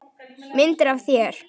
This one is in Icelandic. Myndir af þér.